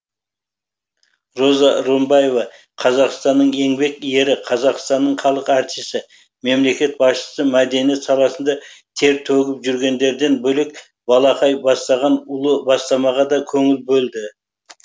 роза рымбаева қазақстанның еңбек ері қазақстанның халық артисі мемлекет басшысы мәдениет саласында тер төгіп жүргендерден бөлек балақай бастаған ұлы бастамаға да көңіл бөлді